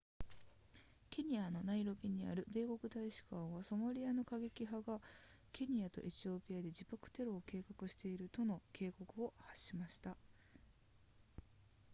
ケニアのナイロビにある米国大使館はソマリアの過激派がケニアとエチオピアで自爆テロを計画しているとの警告を発しました